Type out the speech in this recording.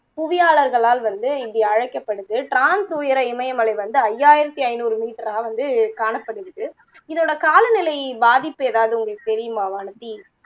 புவியாளர்களால் வந்து இப்படி அழைக்கப்படுது trans உயர இமயமலை வந்து ஐயாயிரத்தி ஐந்நூறு meter ஆ வந்து காணப்படுது இதோடைய காலநிலை பாதிப்பு எதாவது உங்களுக்கு தெரியுமா வானதி